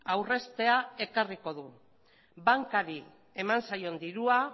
aurreztea ekarriko du bankari eman zaion dirua